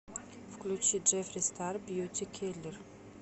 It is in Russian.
включи джеффри стар бьюти киллер